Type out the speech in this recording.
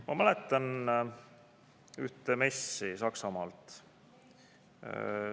Ma mäletan ühte messi Saksamaalt.